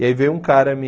E aí veio um cara me...